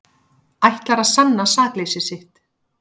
Ætlar að sanna sakleysi sitt